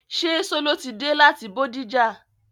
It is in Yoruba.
Ṣé Sọló ti dé láti Bódìjà?